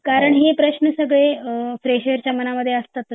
कारण हे प्रश्न सगळे फ्रेशर च्या मनामध्ये असतातच